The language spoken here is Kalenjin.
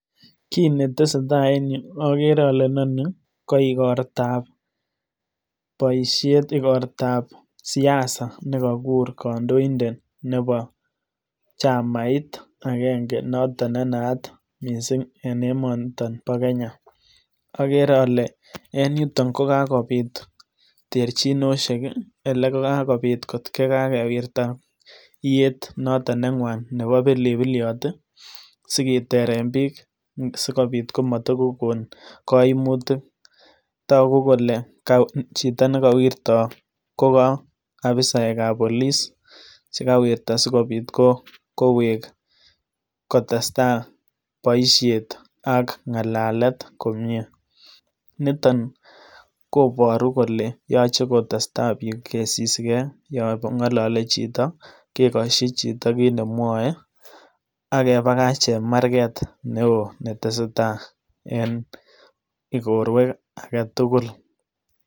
Kii netesetai en yuu okere ole inonii ko igortab poshet igortab siasa nekokur kondoidet nebo chamait akenge noton nenaat missing en emoniton bo kenya, okere ole en yutok kokakobit terchinosheki ole kakobit kot ko kakewirta iyeet noton nengwan nebo pilipilyot tii sikiteren biik sikobit komotokokon koimutik, toku kole chito nekowirtoo ko ka ofisaek ab police chekawieta sikobit koweek kotestai boishet ak ngalalet komie ,niton koboru kole yoche kotestai biik kosisigee yon ngolole chito kekoshoi chito kiit nemwoe ak kebakach chemarget neo netesetai en igorwek agetukul.